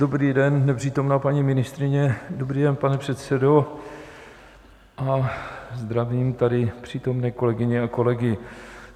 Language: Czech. Dobrý den, nepřítomná paní ministryně, dobrý den, pane předsedo, a zdravím tady přítomné kolegyně a kolegy.